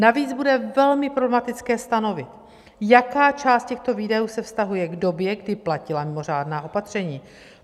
Navíc bude velmi problematické stanovit, jaká část těchto výdajů se vztahuje k době, kdy platila mimořádná opatření.